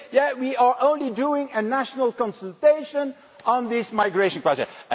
You say yes, we are only doing a national consultation on this migration project'.